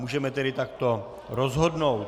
Můžeme tedy takto rozhodnout.